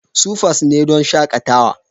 Supas ne don shakatawa.